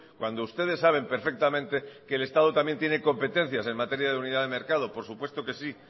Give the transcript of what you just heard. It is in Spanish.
cuando ustedes saben perfectamente que el estado también tiene competencias en materia de unidad de mercado por supuesto que sí